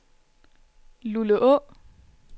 Luleå